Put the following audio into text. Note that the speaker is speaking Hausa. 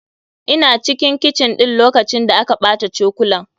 Ina cikin kicin ɗin lokacin da aka ɓata cokalan.